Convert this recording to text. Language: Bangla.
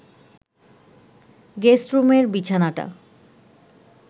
গেস্টরুমের বিছানাটা